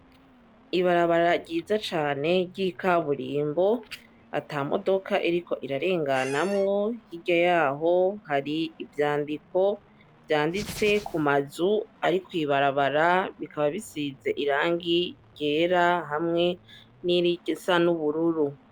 Ibarabara ryiza cane ry'ikaburimbo, atamodoka iriko irarenganamwo. Hirya yaho hari ivyandiko vyanditse kumazu ari kw'ibarabara, bikaba bisize n'irangi ryera hamwe nirisa n'ubururu.